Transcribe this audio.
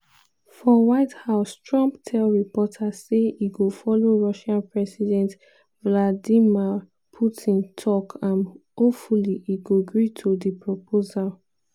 for white house trump tell reporters say e go follow russian president vladimir putin tok and "hopefully" e go gree to di proposal.